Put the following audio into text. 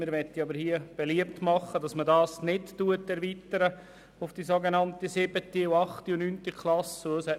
Wir möchten jedoch beliebt machen, den Verkehrsunterricht nicht auf die siebte, achte und neunte Klasse zu erweitern.